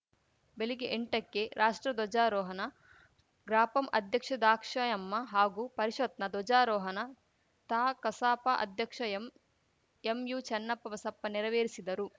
ಬೆಲಿಗ್ಗೆ ಎಂಟಕ್ಕೆ ರಾಷ್ಟ್ರ ಧ್ವಜಾರೋಹಣ ಗ್ರಾಪಂ ಅಧ್ಯಕ್ಷ ದಾಕ್ಷಾಯಮ್ಮ ಹಾಗೂ ಪರಿಷತ್‌ನ ಧ್ವಜಾರೋಹನ ತಾ ಕಸಾಪ ಅಧ್ಯಕ್ಷ ಎಂ ಎಂಯುಚನ್ನಪ್ಪ ಬಸಪ್ಪ ನೆರವೇರಿಸಿದರು